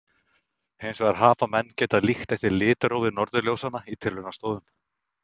hins vegar hafa menn getað líkt eftir litrófi norðurljósanna í tilraunastofum